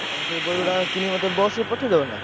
ଆଉ ତମେ ସେଇ ବହିଗୁଡା କିଣି ମତେ bus ରେ ପଠେଇଦବ ନା?